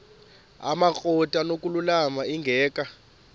amakrot anokulamla ingeka